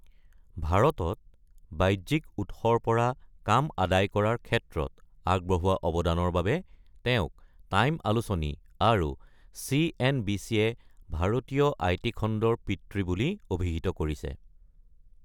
ভাৰতত বাহ্যিক উৎসৰ পৰা কাম আদায় কৰাৰ ক্ষেত্ৰত আগবঢ়োৱা অৱদানৰ বাবে তেওঁক টাইম আলোচনী আৰু চি.এন.বি.চি.য়ে ‘ভাৰতীয় আই.টি. খণ্ডৰ পিতৃ’ বুলি অভিহিত কৰিছে।